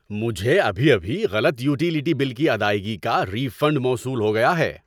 مجھے ابھی ابھی غلط یوٹیلیٹی بل کی ادائیگی کا ری فنڈ موصول ہو گیا ہے۔